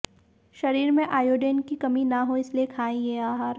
शरीर में आयोडीन की कमी ना हो इसलिये खाएं ये आहार